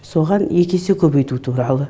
соған екі есе көбейту туралы